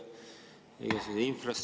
Aitäh, austatud juhataja!